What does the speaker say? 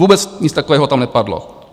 Vůbec nic takového tam nepadlo.